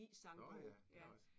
Nåh ja. Der er også